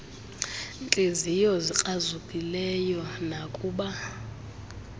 ntliziyo zikrazukileyo nakuba